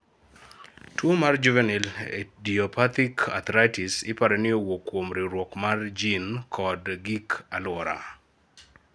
tuo mar juvenile idiopathic arthritis iparo ni owuok kuom riwruok mar jin kod gik aluora